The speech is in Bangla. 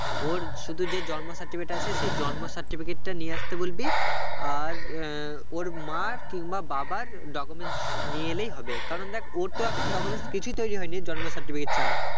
ওর শুধু যে জন্ম certificate টা আছে সেই জন্ম certificate টা নিয়ে আসতে বলবি আর আহ ওর মার কিংবা বাবার documents নিয়ে এলেই হবে কারণ দেখ ওর তো এখন documents কিছুই তৈরী হয়নি জন্ম certificate ছাড়া